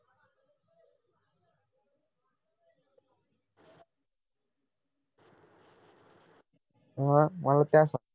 मग मला त्यास